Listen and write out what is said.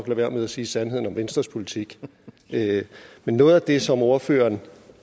være med at sige sandheden om venstres politik men noget af det som ordføreren